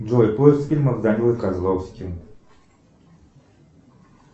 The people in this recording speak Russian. джой поиск фильмов с данилой козловским